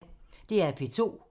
DR P2